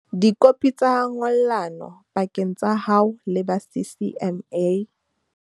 Dikopi tsa ngollano pakeng tsa hao le ba CCMA.